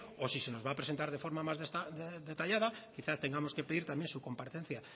o si se nos va a presentar de forma más detallada quizá tengamos que pedir también su comparecencia